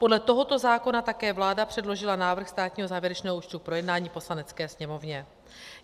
Podle tohoto zákona také vláda předložila návrh státního závěrečného účtu k projednání Poslanecké sněmovně.